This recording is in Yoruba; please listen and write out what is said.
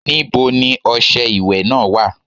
Níbo ni ọṣẹ ìwẹ̀ náà wà?